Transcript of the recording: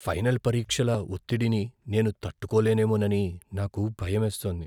Final పరీక్షల ఒత్తిడిని నేను తట్టుకోలేనేమోనని నాకు భయమేస్తోంది.